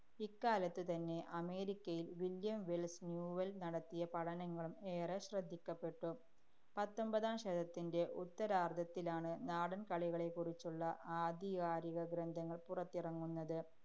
ഇക്കാലത്തുതന്നെ, അമേരിക്കയില്‍ William Wells Newell‍ നടത്തിയ പഠനങ്ങളും ഏറെ ശ്രദ്ധിക്കപ്പെട്ടു. പത്തൊമ്പതാം ശതത്തിന്‍റെ ഉത്തരാര്‍ധത്തിലാണ് നാടന്‍കളികളെക്കുറിച്ചുള്ള ആധികാരികഗ്രന്ഥങ്ങള്‍ പുറത്തിറങ്ങുന്നത്.